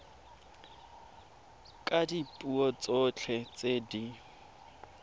ka dipuo tsotlhe tse di